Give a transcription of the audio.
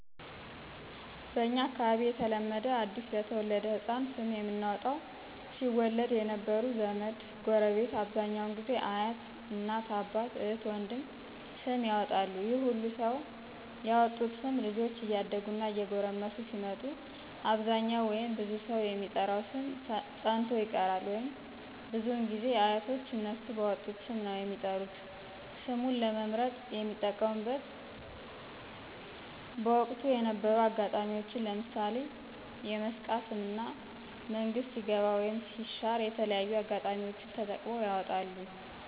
በእንኛ አካባቢ የተለመደ አዲስ ለተወለደ ሕፃን ስም የምናወጣው ሲወለድ የነበሩ ዘመድ፣ ጎረቤት አብዛኛው ጊዜ አያት፣ እናት፣ አባት፣ እህት፣ ወንድም ስም ያወጣሉ ይህ ሁሉ ሰው ያወጡት ስም ልጆች እያደጉ እና እየጎረመሱ ሲመጡ አብዛኛው ወይም ብዙ ሰው የሚጠራው ስም ፀንቶ ይቀራል ወይም። ብዙ ጊዜ ግን አያቶች እነሱ ባወጡት ስም ነው የሚጠሩት። ስሙን ለመምርጥ የሚጠቀሙብት ምንግ በወቅቱ የነበሩ አጋጣሚዎች ለምሣሌ የመስቃ ስም እና መንግስት ሲገባ ወይም ሲሻር የተለያዩ አጋጣሚዎች ተጠቅመው ያወጣሉ።